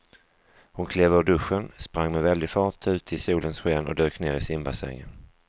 Hon klev ur duschen, sprang med väldig fart ut i solens sken och dök ner i simbassängen.